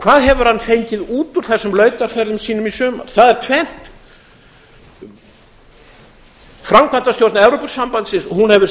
hvað hefur hann fengið út úr þessum lautarferðum sínum í sumar það er tvennt framkvæmdastjórn evrópusambandsins hefur